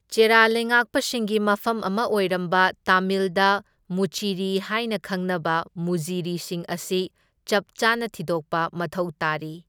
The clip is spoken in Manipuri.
ꯆꯦꯔꯥ ꯂꯩꯉꯥꯛꯄꯁꯤꯡꯒꯤ ꯃꯐꯝ ꯑꯃ ꯑꯣꯏꯔꯝꯕ ꯇꯥꯃꯤꯜꯗ ꯃꯨꯆꯤꯔꯤ ꯍꯥꯏꯅ ꯈꯪꯅꯕ ꯃꯨꯖꯤꯔꯤꯁꯤꯡ ꯑꯁꯤ ꯆꯞꯆꯥꯅ ꯊꯤꯗꯣꯛꯄ ꯃꯊꯧ ꯇꯥꯔꯤ꯫